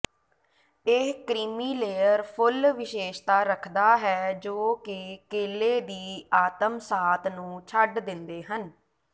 ਇਹ ਕ੍ਰੀਮੀਲੇਅਰ ਫੁੱਲ ਵਿਸ਼ੇਸ਼ਤਾ ਰੱਖਦਾ ਹੈ ਜੋ ਕਿ ਕੇਲੇ ਦੀ ਆਤਮਸਾਤ ਨੂੰ ਛੱਡ ਦਿੰਦੇ ਹਨ